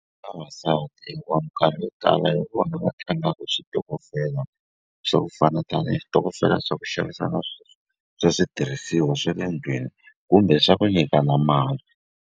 Vavasati hikuva minkarhi yo tala hi vona va tlangaku switokofela swa ku fana tanihi switokofela swa ku xavisa swa switirhisiwa swe le ndlwini kumbe swa ku nyikana mali.